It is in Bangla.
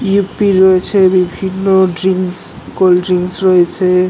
ইয়েপ্পি রয়েছে এবং বিভিন্ন ড্রিংকস কোল্ড ড্রিংকস রয়েছে -- এ --